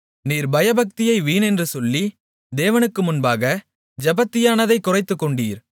நீர் பயபக்தியை வீணென்று சொல்லி தேவனுக்கு முன்பாக ஜெபத்தியானத்தைக் குறைத்துக்கொண்டீர்